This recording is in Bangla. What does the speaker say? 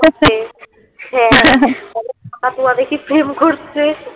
কাকাতুয়া দেখি প্রেম করছে